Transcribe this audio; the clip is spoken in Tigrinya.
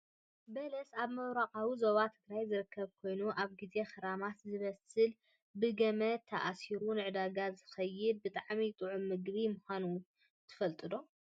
በለስ ኣብ ምብራቃዊ ዞባ ትግራይ ዝርከብ ኮይኑ ኣብ ግዜ ክረምቲ ዝበስል ብገመድ ተኣሲሩ ንዕዳጋ ዝሽየጥ ብጣዕሚ ጥዑም ምግቢ ምኳኑ ትፈልጡ ዶ ?